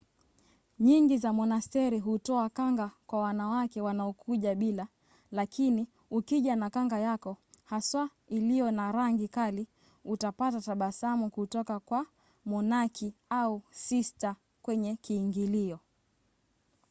nyingi za monasteri hutoa kanga kwa wanawake wanaokuja bila lakini ukija na kanga yako haswa iliyo na rangi kali utapata tabasamu kutoka kwa monaki au sista kwenye kiingilio